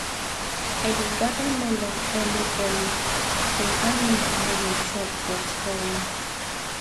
i dey gather melon early early so animal no go chop or spoil am